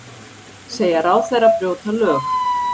Segja ráðherra brjóta lög